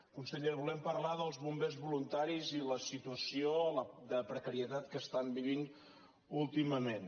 conseller volem parlar dels bombers voluntaris i la situació de precarietat que estan vivint últimament